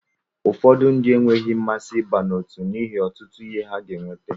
Ụfọdụ ndị enweghị mmasị ịba n'otu n'ihi ọtụtụ ihe ha ga eweta.